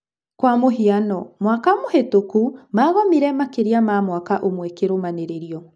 Kwa mũhiano, mwaka mũhĩtũkũ magomire makĩria ma mwaka ũmwe kĩrũmanĩrĩrio.